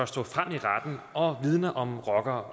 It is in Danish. stå frem i retten og vidne om rocker